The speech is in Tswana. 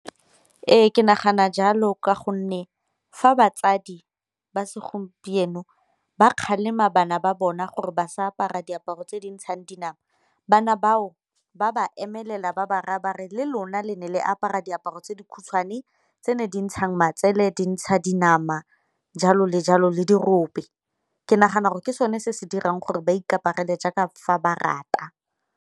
Ee, ke nagana jalo ka gonne fa batsadi ba segompieno ba kgalema bana ba bona gore ba sa apara diaparo tse di ntshang dinama, bana bao ba ba emelela ba ba raya ba re le lona le ne le apara diaparo tse di khutshwane tse ne di ntsha matsele, di ntsha dinama, jalo le jalo le dirope. Ke nagana gore ke sone se se dirang gore ba ikaparela jaaka fa ba rata.